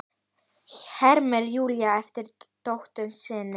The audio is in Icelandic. hermir Júlía eftir dóttur sinni.